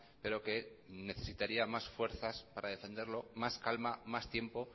pero que necesitaría más fuerzas para defenderlo más calma más tiempo